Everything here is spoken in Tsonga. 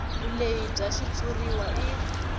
vulehi bya xitshuriwa i